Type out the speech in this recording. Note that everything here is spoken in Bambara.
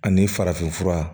Ani farafin fura